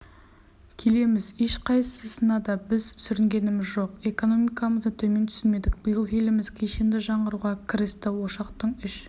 келеміз ешқайсысында біз сүрінгеніміз жоқ экономикамызды төмен түсірмедік биыл еліміз кешенді жаңғыруға кірісті ошақтың үш